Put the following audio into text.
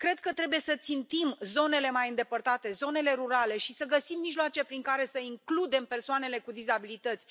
Cred că trebuie să țintim zonele mai îndepărtate, zonele rurale și să găsim mijloace prin care să includem persoanele cu dizabilități.